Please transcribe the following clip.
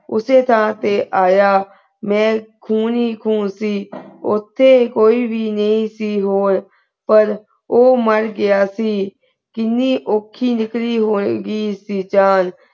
ਉਸੀ ਤਾਂ ਤੇ ਆਯਾ ਮੈਂ ਖੂਨ ਹੀ ਖੂਨ ਸੇ ਓਤੇ ਕੋਈ ਵੀ ਨਾਈ ਸੀ ਹੋਰ ਪਰ ਊ ਮਾਰ ਗਯਾ ਸੀ ਕੀਨੀ ਊਕੀ ਨਿਕਲੀ ਹੋਵੇ ਗੀ ਸੀ ਜਾਨ